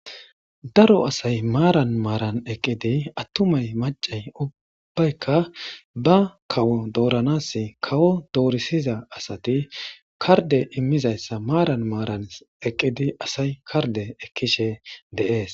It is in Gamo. Daro asayi maran maran eqqidi attumay maccayi ubbayika ba kawo dooranas kawo dorissiza asati kardde immizaysa maran maran eqqidi asayi kardde ekkishe de'es.